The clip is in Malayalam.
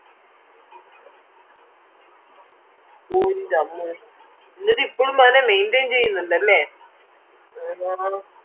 ഓ ഇൻറമ്മോ ന്നിട്ട് ഇപ്പളും അന്നേ maintain ചെയ്യനിണ്ടല്ലേ